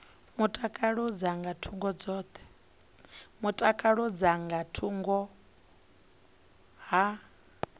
mutakalo dza nga thungo ha